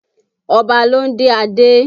Ọba ló ń dé adé